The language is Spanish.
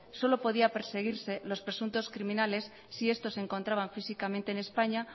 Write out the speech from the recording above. solo podía perseguirse los presuntos criminales si estos se encontraban físicamente en españa